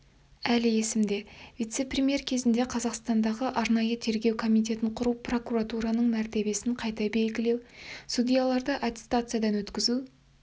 әлі есімде вице-премьер кезінде қазақстандағы арнайы тергеу комитетін құру прокуратураның мәртебесін қайта белгілеу судьяларды аттестациядан өткізу